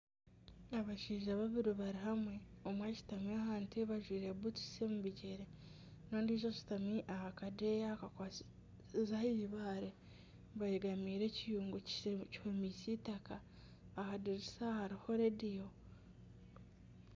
Abashaija babiri bari hamwe omwe ashutami aha ntebe ajwaire butuusi omu bigyere n'ondiijo ashutamire aha kadeeya akakwatsize ah'eibaare bayegamire ekiyungu kihomise eitaaka aha diriisa hariho rediyo.